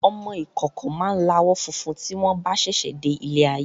Ọmọ ìkókó máa láwọ̀ funfun tí wọn bá sẹsẹ de ilé ayé